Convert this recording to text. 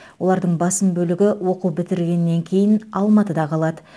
олардың басым бөлігі оқу бітіргеннен кейін алматыда қалады